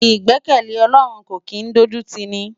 Igbèkèlé Òlòrún kó kin dójútini